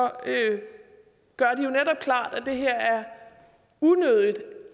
at det her er unødigt